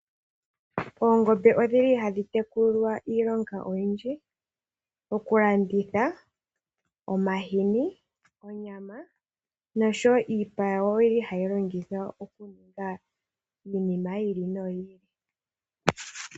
Oongombe odhi li hadhi tekulilwa iilonga oyendji. Okulanditha omahini, onyama noshowo iipa yawo hayi longithwa okuninga iinima yi ili no yi ili.